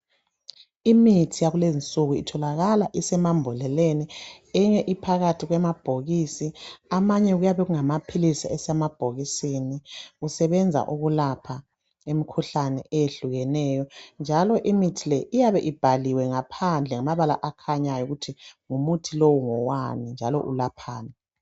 Imithi yakukezinsuku itholakala isemambodleleni , eyinye iphakathi kwemabhokisi , amanye okuyabe kungamaphilisi asemabhokiseni ukusebenza ukulapha imkhuhlane eyehlulekeneyo njalo imithi le iyabe ibhaliwe phandle ngamabala akhanyayo ukuthi umuthi lo ngowani njalo ulaphani